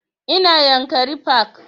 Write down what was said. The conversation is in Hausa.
Ina yankari park